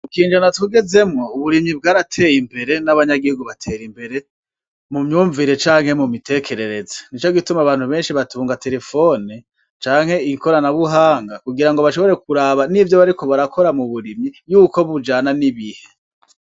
Ikinjana tugezemwo uburimyi bwarateye imbere n'abanyagihugu batera imbere mu mvyumvire canke mu mitekerereze. Ni ico gituma abantu benshi batunga terefone canke ikoranabuhanga kugira ngo bashobore kuraba n'ivyo bariko barakora yuko bijana n'ibihe.